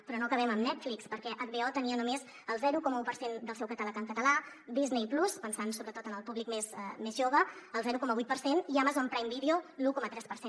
però no acabem amb netflix perquè hbo tenia només el zero coma un per cent del seu catàleg en català disney+ pensant sobretot en el públic més jove el zero coma vuit per cent i amazon prime video l’un coma tres per cent